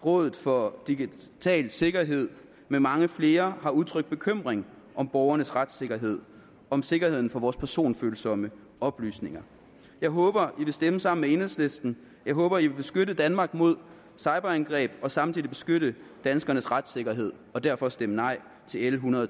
og rådet for digital sikkerhed med mange flere har udtrykt bekymring for borgernes retssikkerhed og sikkerheden for vores personfølsomme oplysninger jeg håber i vil stemme sammen med enhedslisten jeg håber i vil beskytte danmark mod cyberangreb og samtidig beskytte danskernes retssikkerhed og derfor stemme nej til l ethundrede